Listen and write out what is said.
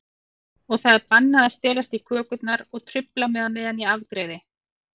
Og það er bannað að stelast í kökurnar og trufla mig á meðan ég afgreiði.